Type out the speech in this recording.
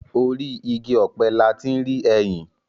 Orí igi ọ̀pẹ la ti ń rí ẹyìn.